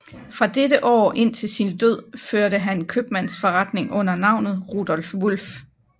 Fra dette år indtil sin død førte han købmandsforretning under navnet Rudolph Wulff